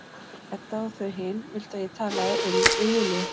Edda og þau hin vildu að ég talaði um við Júlíu.